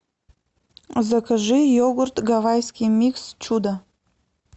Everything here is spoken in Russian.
закажи йогурт гавайский микс чудо